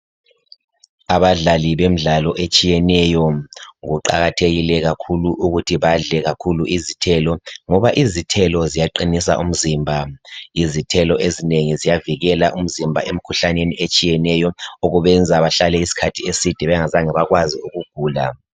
Abadlali bemdalo etshiyeneyo , kuqakathekile kakhulu ukuthi badle kakhulu izithelo ngoba izithelo ziyaqinisa umzimba , izithelo ezinengi ziyavikela umzimba emkhuhlaneni etshiyeneyo okubenza bahlale iskhathi eside bengazange bekwazi ukugula